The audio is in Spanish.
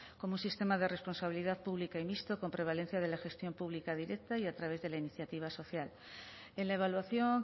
como sistema de responsabilidad pública y mixto con prevalencia de la gestión pública directa y a través de la iniciativa social en la evaluación